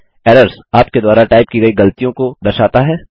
errors - आपके द्वारा type की गई गलतियों की दर्शाता है